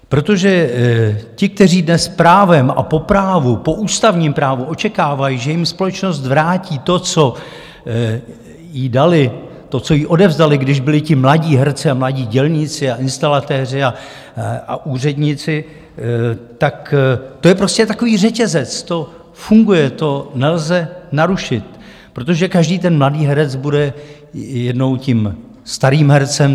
Protože ti, kteří dnes právem a po právu, po ústavním právu očekávají, že jim společnost vrátí to, co jí dali, to, co jí odevzdali, když byli ti mladí herci, mladí dělníci a instalatéři a úředníci, tak to je prostě takový řetězec, to funguje, to nelze narušit, protože každý ten mladý herec bude jednou tím starým hercem.